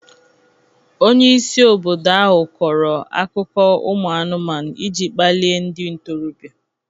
Onye isi obodo ahụ kọrọ akụkọ umu anụmanụ iji kpalie ndị ntorobịa.